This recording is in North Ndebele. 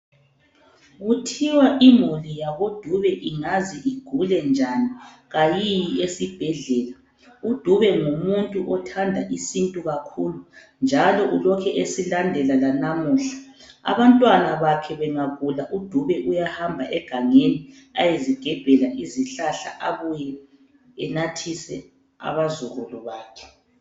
Kuthiwa imuli yako Dube ingaze igule njani kayiyi esibhedlela, uDube ngumuntu othanda isintu kakhulu njalo ulokhe esilandela lalamuhla, abantwana bakhe bengagula uDube uyahamba egangeni ayezigebhela izihlahla abuye enathise abazukulu bakhe.